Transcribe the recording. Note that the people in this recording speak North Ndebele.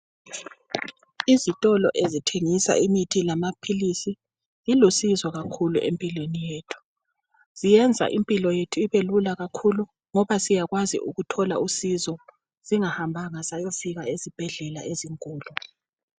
Izitolo ezithengisa imithi lamaphilisi zilusizo kakhulu empilweni yethu. Ziyenza impilo yethu ibelula kakhulu ngoba siyakwazi ukuthola usizo singahambanga sayofika ezibhedlela ezinkulu.